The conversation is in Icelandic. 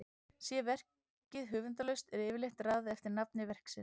Sé verkið höfundarlaust er yfirleitt raðað eftir nafni verksins.